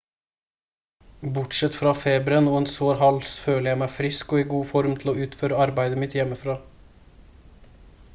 bortsett fra feberen og en sår hals føler jeg meg frisk og i god form til å utføre arbeidet mitt hjemmefra